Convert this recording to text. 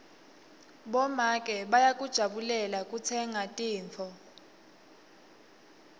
bomake bayakujabulela kutsenga tintfo